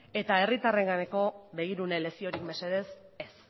eta herritarrenganako begirune leziorik mesedez ez